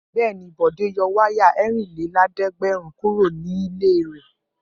Bẹ́ẹ̀ ni, Bọ̀dé yọ wáyà ẹ̀rìnlélẹ́ẹ̀dẹ́gbẹ̀rún kúrò nílé rẹ̀.